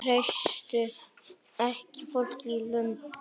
Treystu ekki fólkinu í landinu